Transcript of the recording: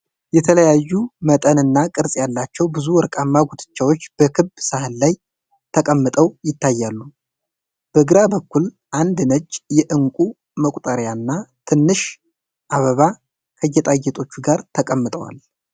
የተለያዩ መጠንና ቅርፅ ያላቸው ብዙ ወርቃማ ጉትቻዎች በክብ ሳህን ላይ ተቀምጠው ይታያሉ። በግራ በኩል አንድ ነጭ የእንቁ መቁጠሪያና ትንሽ አበባ ከጌጣጌጦቹ ጋር ተቀምጠዋል።